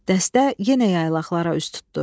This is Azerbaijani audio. Dəstə yenə yaylaqlara üz tutdu.